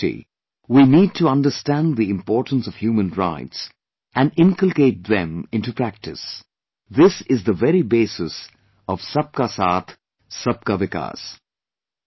As a society, we need to understand the importance of human rights and inculcate them into practice this is the very basis of Sab kaSaathSab kaVikas'